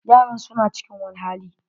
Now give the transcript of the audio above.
Yaran su na cikin wani hali.